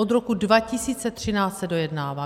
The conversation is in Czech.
Od roku 2013 se dojednává.